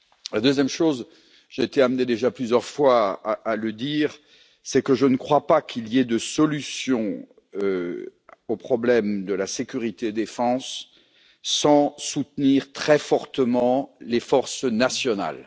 La deuxième chose j'ai été amené déjà plusieurs fois à le dire c'est que je ne crois pas qu'il y ait de solution au problème de la sécurité et de la défense sans soutenir très fortement les forces nationales.